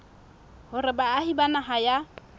hore baahi ba naha ya